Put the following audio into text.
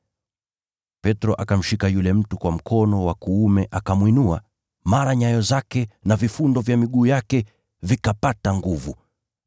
Petro akamshika yule mtu kwa mkono wa kuume akamwinua, mara nyayo zake na vifundo vya miguu yake vikapata nguvu.